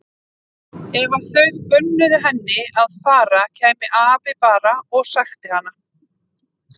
Ef þau bönnuðu henni að fara kæmi afi bara og sækti hana.